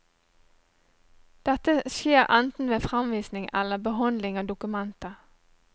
Dette skjer enten ved framvisning eller behandling av dokumentet.